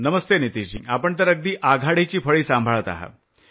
नमस्ते नितीश जी आपण तर अगदी आघाडीची फळी सांभाळत आहात